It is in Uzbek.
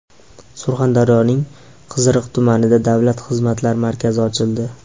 Surxondaryoning Qiziriq tumanida Davlat xizmatlari markazi ochildi .